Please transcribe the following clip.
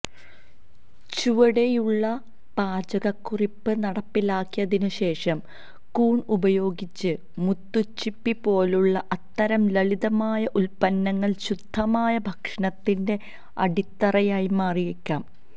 ചുവടെയുള്ള പാചകക്കുറിപ്പ് നടപ്പിലാക്കിയതിനുശേഷം കൂൺ ഉപയോഗിച്ച് മുത്തുച്ചിപ്പി പോലുള്ള അത്തരം ലളിതമായ ഉൽപ്പന്നങ്ങൾ ശുദ്ധമായ ഭക്ഷണത്തിന്റെ അടിത്തറയായി മാറിയേക്കാം